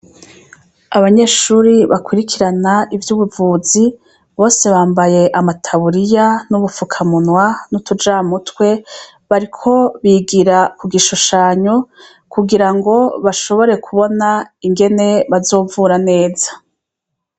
abanyeshuri bakurikirana iby'ubuvuzi bose bambaye amataburiya n'ubufukamunwa n'utujamutwe bariko bigira ku gishushanyo kugira ngo bashobore kubona ingene bazovura neza